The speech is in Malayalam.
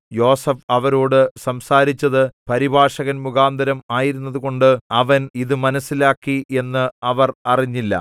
യോസേഫ് അവരോടു സംസാരിച്ചത് പരിഭാഷകൻമുഖാന്തരം ആയിരുന്നതുകൊണ്ട് അവൻ ഇതു മനസ്സിലാക്കി എന്ന് അവർ അറിഞ്ഞില്ല